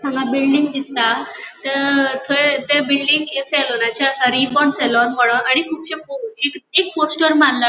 हांगा बिल्डिंग दिसता ते ते बिल्डिंग सलून चे आसा रिबॉर्न सलून मनोन आणि कुबशे पो एक एक पोस्टर मारला.